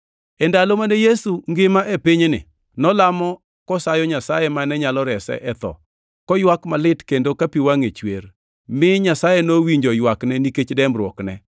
E ndalo mane Yesu ngima e pinyni, nolamo kosayo Nyasaye mane nyalo rese e tho, koywak malit kendo ka pi wangʼe chwer, mi Nyasaye nowinjo ywakne nikech dembruokne.